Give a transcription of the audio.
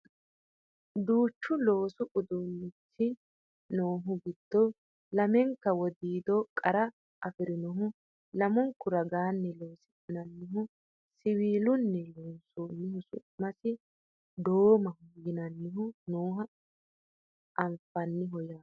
duuchu loosu uduunnichi noohu giddo lamenka widiido qara afirinohu lamunku raginni loosi'nannihu siwiilunni loonsoonnihu su'masi doomaho yinannihu nooha anfanniho yaate